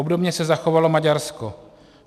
Obdobně se zachovalo Maďarsko.